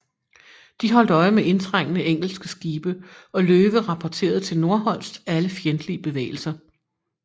De holdt øje med indtrængende engelske skibe og Löwe rapporterede til Nordholz alle fjendtlige bevægelser